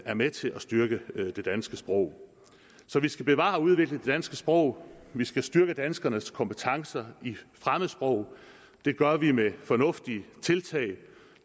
er med til at styrke det danske sprog vi skal bevare og udvikle det danske sprog vi skal styrke danskernes kompetencer i fremmedsprog det gør vi med fornuftige tiltag